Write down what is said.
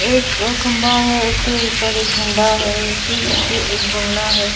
एक खंबा है उसके ऊपर एक झंडा है उसके पीछे एक बंगला है।